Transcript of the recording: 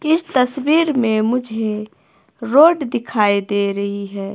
इस तस्वीर में मुझे रोड दिखाई दे रही है।